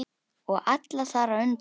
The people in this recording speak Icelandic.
Og alla þar á undan.